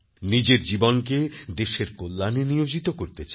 নিজের জীবনকে দেশের কল্যাণে নিয়োজিত করতে চাই